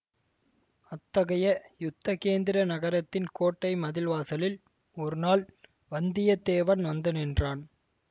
அத்தகைய யுத்த கேந்திர நகரத்தின் கோட்டை மதில் வாசலில் ஒரு நாள் வந்தியத்தேவன் வந்து நின்றான்